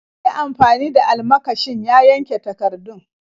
Ya yi amfani da almakashin ya yanka takardun.